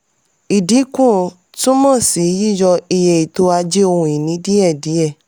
ìdínkù túmọ̀ sí yiyọ iye ètò ajé ohun ìní díẹ̀díẹ̀.